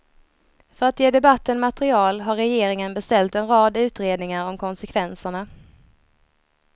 För att ge debatten material har regeringen beställt en rad utredningar om konsekvenserna.